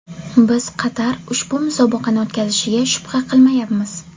Biz Qatar ushbu musobaqani o‘tkazishiga shubha qilmayapmiz.